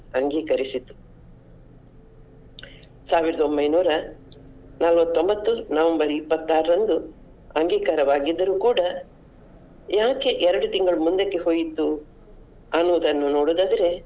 ಅಂಗೀಕರಿಸಿತು. ಸಾವಿರದ ಒಂಬೈನೂರ ನಲ್ವತ್ತೊಂಬತ್ತು November ಇಪತ್ತಾರರಂದು ಅಂಗೀಕಾರವಾಗಿದ್ದರು ಕೂಡ ಯಾಕೆ ಎರಡು ತಿಂಗಳು ಮುಂದಕ್ಕೆ ಹೋಯಿತು ಅನ್ನೋದನ್ನು ನೋಡುದಾದರೆ.